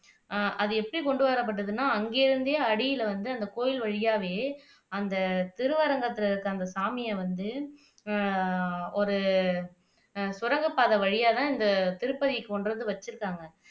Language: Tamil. அஹ் அது எப்படி கொண்டுவரப்பட்டதுன்னா அங்கிருந்தே அடில வந்து அந்த கோயில் வழியாவே அந்த திருவரங்கத்துல இருக்கிற அந்த சாமியை வந்து அஹ் ஒரு சுரங்கப்பாதை வழியாதான் இந்த திருப்பதிக்கு கொண்டுவந்து வச்சுருக்காங்க